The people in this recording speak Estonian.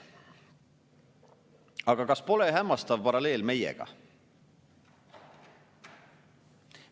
Aga kas pole hämmastav paralleel meiega?